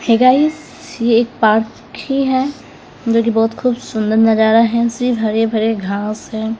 हे guys एक park ही है जोकि बहोत खूब सुंदर नजारा है सी हरे भरे घास है।